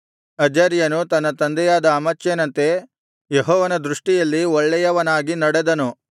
ಅಜರ್ಯನು ತನ್ನ ತಂದೆಯಾದ ಅಮಚ್ಯನಂತೆ ಯೆಹೋವನ ದೃಷ್ಟಿಯಲ್ಲಿ ಒಳ್ಳೆಯವನಾಗಿ ನಡೆದನು